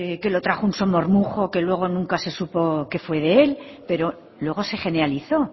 que lo trajo un somormujo que luego nunca se supo que fue de él pero luego se generalizó